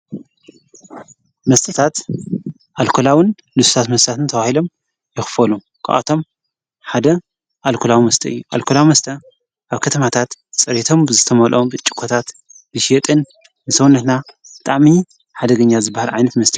መስትታት ኣልኮላውን ልሱስ መሳትን ተባሂሎም ይኽፈሉ ካብኣቶም ሓደ ኣልኮላዊ ምስተ ኣልኮላዊ መስተ ኣብ ከተማታት ጸሬቶም ብዘተመልኦም ብርጭቆኮታት ዝሽወጥን ንሰውነትና ብጣዕሚ ሓደገኛ ዝበሃር ዓይንፍ ምስተ አዮ